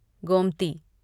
Gomti